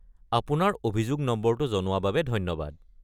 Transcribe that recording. আপোনাৰ অভিযোগ নম্বৰটো জনোৱা বাবে ধন্যবাদ।